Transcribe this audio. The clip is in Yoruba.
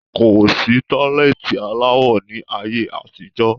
Kosi tọ́lẹ́ẹ́tì aláwọ ni ayé àtijọ́